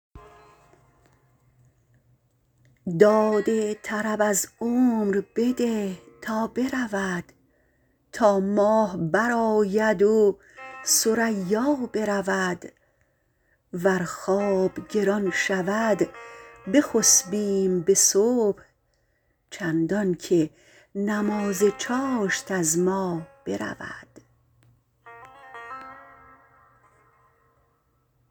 داد طرب از عمر بده تا برود تا ماه برآید و ثریا برود ور خواب گران شود بخسبیم به صبح چندانکه نماز چاشت از ما برود